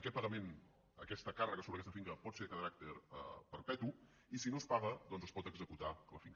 aquest pagament aquesta càrrega sobre aquesta finca pot ser de caràcter perpetu i si no es paga doncs es pot executar la finca